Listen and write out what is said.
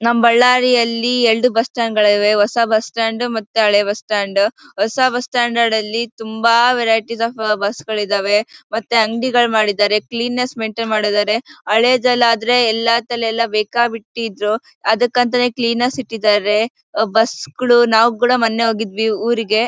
ನಮ್ಮ್ ಬಳ್ಳಾರಿಯಲ್ಲಿ ಎರಡು ಬಸ್ಸ್ಟ್ಯಾಂಡ್ ಗಳಿವೆ ಹೊಸ ಬಸ್ಸ್ಟ್ಯಾಂಡ್ ಮತ್ತೆ ಹಳೆ ಬಸ್ಸ್ಟ್ಯಾಂಡ್. ಹೊಸ ಬಸ್ಸ್ಟ್ಯಾಂಡ್ ತುಂಬಾ ವೆರೈಟಿಸ್ ಓಫ್ ಬಸ್ ಗಳಿದ್ದಾವೆ ಮತ್ತೆ ಅಂಗಡಿಗಳು ಮಾಡಿದ್ದಾರೆ. ಕ್ವೀನ್ನೆಸ್ ಮೈನ್ಟೈನ್ ಮಾಡಿದ್ದಾರೆ. ಹಳೇದಲ್ಲಾದ್ರೆ ಎಲ್ಲತಲ್ ಬೇಕಾಬಿಟ್ಟಿ ಇದ್ರು ಅದಕ್ಕಂತನೇ ಕ್ಲೀನರ್ ಸ್ ಇಟ್ಟಿದ್ದಾರೆ. ಬಸ್ ಗಳು ನಾವು ಕೂಡ ಮೊನ್ನೆ ಹೋಗಿದ್ವಿ ಊರಿಗೆ.